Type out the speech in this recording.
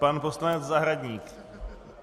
Pan poslanec Zahradník.